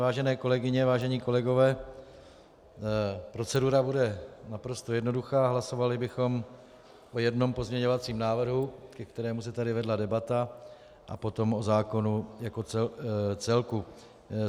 Vážené kolegyně, vážení kolegové, procedura bude naprosto jednoduchá, hlasovali bychom o jednom pozměňovacím návrhu, ke kterému se tady vedla debata, a potom o zákonu jako celku.